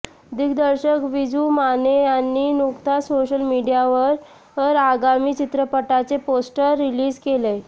दिग्दर्शक विजू माने यांनी नुकताच सोशल मीडियावर आगामी चित्रपटाचे पोस्टर रिलीज केलय